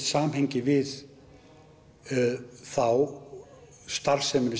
samhengi við þá starfsemi